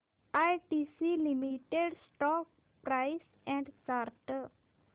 ITC limited stock price and chart